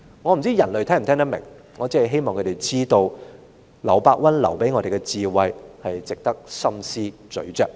我不知道人類是否聽得明白，我只是希望他們知道，劉伯溫留給我們的智慧值得深思細嚼。